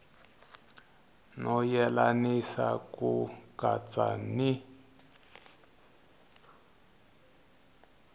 no yelanisa ku katsa ni